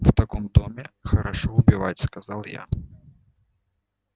в таком доме хорошо убивать сказал я